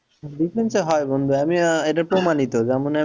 business এ হয় বন্ধু আমি আহ এটা প্রমাণিত যেমন আহ